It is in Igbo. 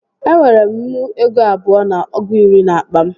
E nwere m nnu ego abụọ na ọgụ iri n'akpa m